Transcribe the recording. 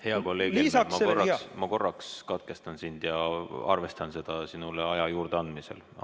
Hea kolleeg Helme, ma korraks katkestan sind ja arvestan seda sinule aja juurdeandmisel.